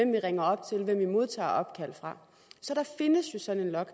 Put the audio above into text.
vi ringer op til hvem vi modtager opkald fra så der findes jo sådan en log